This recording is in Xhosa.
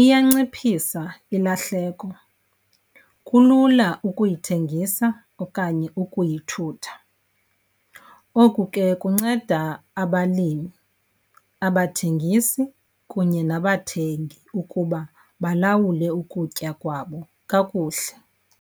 iyanciphisa ilahleko, kulula ukuyithengisa okanye ukuyithutha. Oku ke kunceda abalimi, abathengisi kunye nabathengi ukuba balawule ukutya kwabo kakuhle.